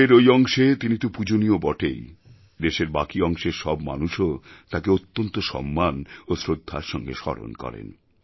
দেশের ওই অংশে তিনি তো পূজনীয় বটেই দেশের বাকি অংশের সব মানুষও তাকে অত্যন্ত সম্মান ও শ্রদ্ধার সঙ্গে স্মরণ করেন